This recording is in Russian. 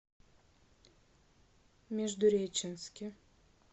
междуреченске